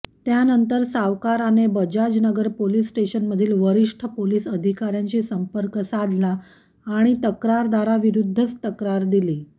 त्यानंतर सावकाराने बजाजनगर पोलीस स्टेशनमधील वरिष्ठ पोलीस अधिकाऱ्यांशी संर्पक साधला आणि तक्रारदाराविरुद्धच तक्रार दिली